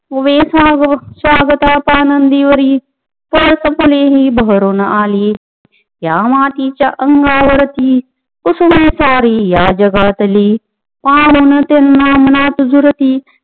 उभे स्वागता पाणंदीवरी पळसफुले ही बहरून आली या मातीच्या अंकावरती कुसुम सारी या जगातली पाहु न त्यांना मनात झुरती